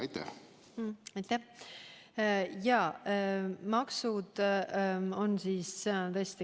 Aitäh!